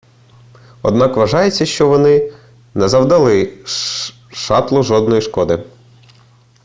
однак вважається що вони не завдали шатлу жодної шкоди